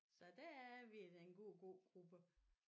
Så der er vi den gode gågruppe